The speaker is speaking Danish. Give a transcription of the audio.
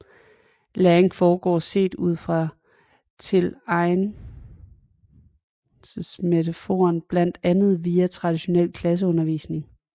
Læring foregår set ud fra tilegnelsesmetaforen bandt andet via traditionel klasseundervisning